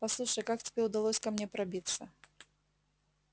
послушай как тебе удалось ко мне пробиться